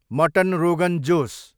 mutton rogan Jose